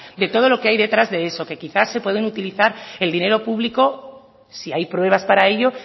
de todo lo que hay detrás de eso que quizá se puede utilizar el dinero público si hay pruebas para ello